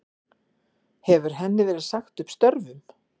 Hefur henni verið sagt upp störfum